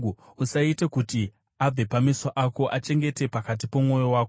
Usaite kuti abve pameso ako, achengete pakati pomwoyo wako;